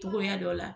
Togoya dɔ la